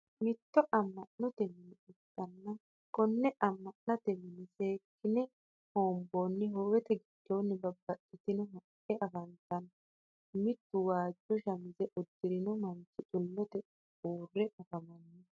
mitto ama'notte minne ikana konne ama'natte minne seekine hoonboonni howete giddonno babaxitinoti haqqe afantano mittu waajo shamize hudirinno manchi xulotte uure afamanno